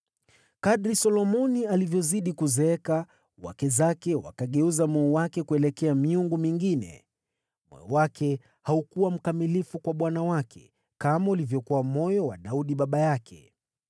Kadiri Solomoni alivyozidi kuzeeka, wake zake wakaugeuza moyo wake kuelekea miungu mingine, na moyo wake haukujitolea kikamilifu kwa Bwana Mungu wake, kama ulivyokuwa moyo wa Daudi baba yake.